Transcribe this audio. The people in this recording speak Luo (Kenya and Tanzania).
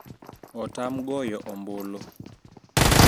Otam goyo ombulu